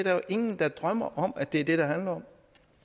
er jo ingen der drømmer om at det er det det handler om